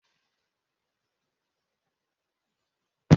Ụbọchị nleta ụlọ obibi ụlọ akwụkwọ ga abụ n'ụbọchị ụka ọzọ.